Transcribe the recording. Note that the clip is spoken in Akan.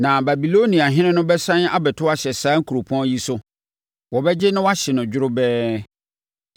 Na Babiloniafoɔ no bɛsane abɛto ahyɛ saa kuropɔn yi so; wɔbɛgye na wɔahye no dworobɛɛ.’